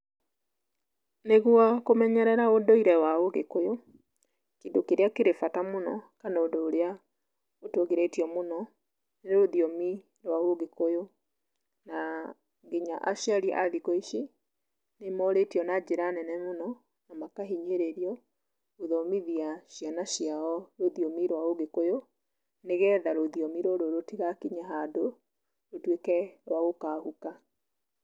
Nĩguo kũmenyerera ũndũire wa ũgĩkũyũ, kĩndũ kĩrĩa kĩrĩ bata mũno kana ũndũ ũrĩa ũtũgĩrĩtio mũno, nĩ rũthiomi rwa ũgĩkũyũ, na nginya aciari a thikũ ici, nĩmorĩtio na njĩra nene mũno, na makahinyĩrĩrio gũthomithia ciana ciao rũthiomi rwa ũgĩkũyũ, nĩgetha rũthiomi rũrũ rũtigakinye handũ, rũtuĩke rwa gũkahuka.